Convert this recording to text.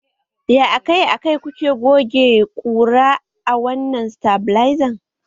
Ya akai-akai kuke goge ƙura a wannan satabilizan?